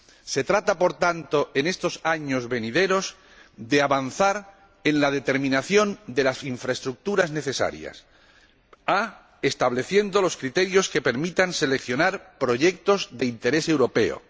Se trata, por tanto, en estos años venideros, de avanzar en la determinación de las infraestructuras necesarias a estableciendo los criterios que permitan seleccionar proyectos de interés europeo